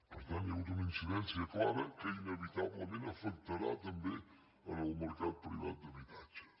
per tant hi ha hagut una incidència clara que inevitablement afectarà també el mercat privat d’habitatge